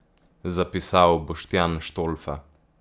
Zapisal Boštjan Štolfa.